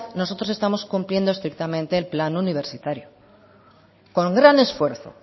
nosotros estamos cumpliendo estrictamente el plan universitario con gran esfuerzo